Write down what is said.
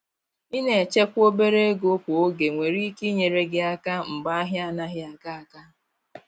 Ina echekwa obere ego kwa oge nwere ike inyere gi aka mgbe ahia anaghị aga aga.